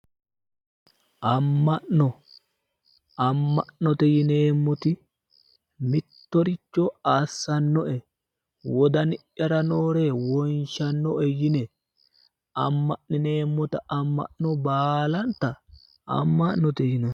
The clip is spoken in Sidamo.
amma'no amma'note yineemmoti mittoricho assannoe wodani'yara noore wonshannoe yine amma'nineemmota amma'no baalanta amma'note yinanni.